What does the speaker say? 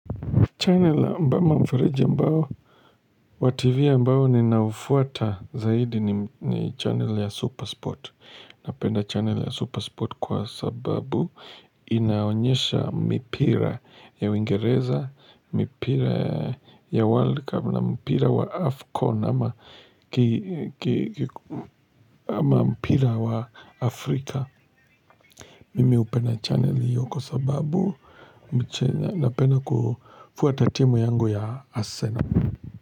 Channel mbama mfureja mbao, wativi mbao ninaufuata zaidi ni channel ya Supersport. Napenda channel ya Supersport kwa sababu inaonyesha mipira ya wingereza, mipira ya World Cup na mpira wa Afcon ama mpira wa Afrika. Mimi hupena channel hiyo kwa sababu Napenda kufuata timu yangu ya Arsenal.